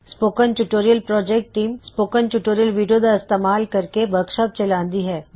spoken tutorial project team spoken tutorial video ਦਾ ਇਸਤੇਮਾਲ ਕਰਕੇ ਵਰਕਸ਼ਾਪਸ ਚਲਾਉੰਦੀ ਹੇ